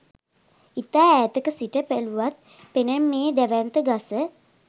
ඉතා ඈතක සිට බැලුවත් පෙනෙන මේ දැවැන්ත ගස